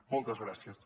moltes gràcies